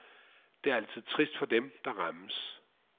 Det er altid trist for dem, der rammes.